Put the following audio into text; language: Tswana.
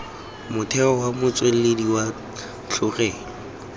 motheo wa motswedi wa tlholego